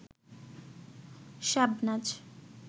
Shabnaz